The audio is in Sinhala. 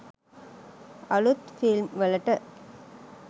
අලුත් ෆිල්ම් වලට.